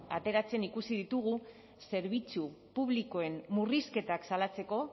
ateratzen ikusi ditugu zerbitzu publikoen murrizketak salatzeko